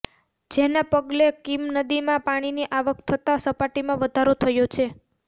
જેના પગલે કીમ નદીમાં પાણીની આવક થતા સપાટીમાં વધારો થયો છે